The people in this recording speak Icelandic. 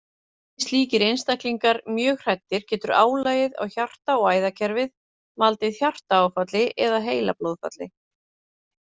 Verði slíkir einstaklingar mjög hræddir getur álagið á hjarta- og æðakerfið valdið hjartaáfalli eða heilablóðfalli.